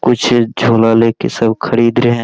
कुछ झोला लेके सब खरीद रहे हैं।